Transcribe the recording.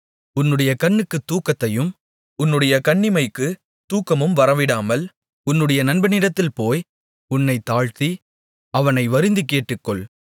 உன்னுடைய கண்ணுக்கு தூக்கத்தையும் உன்னுடைய கண்ணிமைக்குத் தூக்கமும் வரவிடாமல் உன்னுடைய நண்பனிடத்தில் போய் உன்னைத் தாழ்த்தி அவனை வருந்திக் கேட்டுக்கொள்